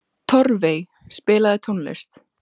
Torfey, spilaðu tónlist.